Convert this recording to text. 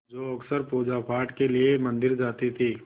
जो अक्सर पूजापाठ के लिए मंदिर जाती थीं